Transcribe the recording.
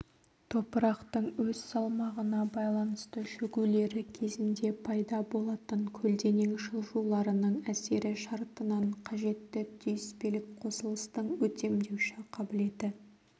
топырақтың өз салмағына байланысты шөгулері кезінде пайда болатын көлденең жылжуларының әсері шартынан қажетті түйіспелік қосылыстың өтемдеуші қабілеті